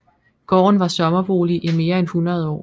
Gården var sommerbolig i mere end 100 år